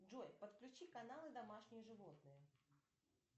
джой подключи каналы домашние животные